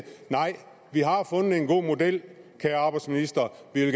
nej vi har fundet en god model vi vil